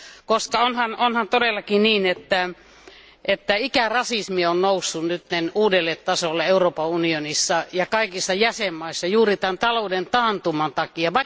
Koska onhan todellakin niin, että ikärasismi on noussut nyt uudelle tasolle Euroopan unionissa ja kaikissa jäsenvaltioissa juuri tämän talouden taantuman takia.